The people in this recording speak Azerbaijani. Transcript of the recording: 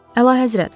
Əlahəzrət!